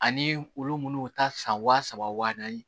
Ani olu munnu ta san wa saba wa naani